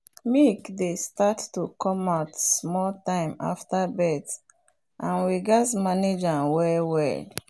milk dey start to come out small time after birth and we gatz manage am well well.